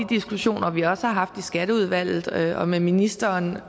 diskussioner vi også har haft i skatteudvalget og med ministeren